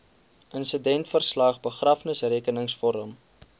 insidentverslag begrafnisrekenings vorm